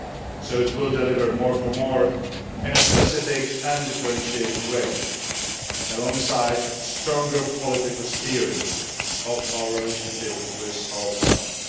So it will deliver more for more, in a specific and differentiated way, alongside stronger political steering of our relationship with our partners.